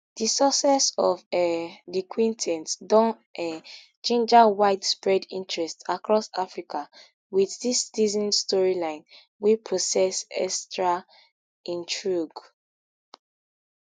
di success of um di quintet don um ginger widespread interest across africa with dis season storyline wey possess extra intrigue